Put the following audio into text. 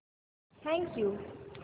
thank you